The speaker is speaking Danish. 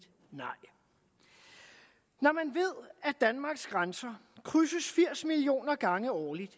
nej når man ved at danmarks grænser krydses firs millioner gange årligt